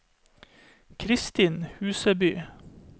Kristin Huseby